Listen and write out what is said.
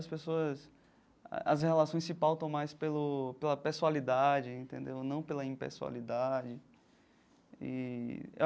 As pessoas as relações se pautam mais pelo pela pessoalidade entendeu, e não pela impessoalidade eee.